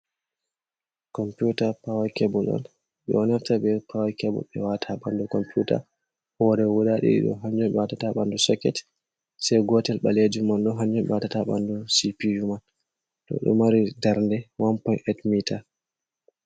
Computa pawa kebul on bedo naftiraa be pawa kebul man be wata ha bandu computa, hore guda didi do hanjon ɓe watata ha bandu soket se gotel balejum man do hanjum ɓe watata ha bandu cpu man to do mari darde 1.8 mitar.